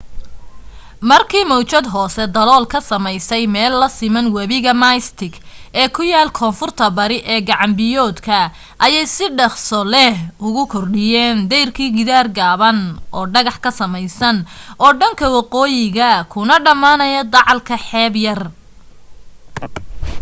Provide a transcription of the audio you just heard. markii mawjad hoose dalool ka sameysay meel la siman webiga mystic ee ku yaal koonfurta bari ee gacan biyoodka ayay si dhakhso leh ugu kordhiyeen dayrkii gidaar gaaban oo dhagax ka samaysan oo dhanka waqooyiya kuna dhammaanaya dacalka xeeb yar